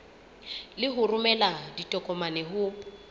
le ho romela ditokomane ho